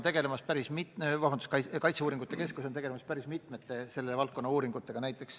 Kaitseuuringute keskus aga tegeleb päris mitme selle valdkonna uuringuga.